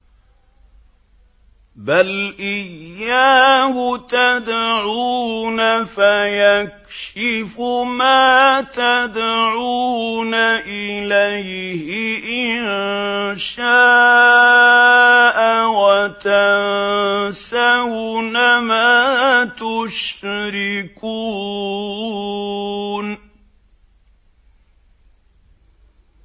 بَلْ إِيَّاهُ تَدْعُونَ فَيَكْشِفُ مَا تَدْعُونَ إِلَيْهِ إِن شَاءَ وَتَنسَوْنَ مَا تُشْرِكُونَ